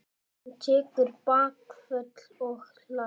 Hann tekur bakföll og hlær.